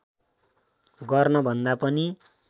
गर्न भन्दा पनि